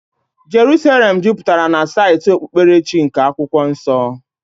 Jeruselem juputara na saịtị okpukperechi nke Akwụkwọ Nsọ.